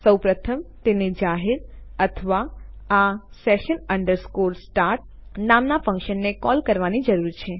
સૌ પ્રથમ આપણે તેને જાહેર અથવા આ session start નામના ફન્કશનને કૉલ કરવાની જરૂર છે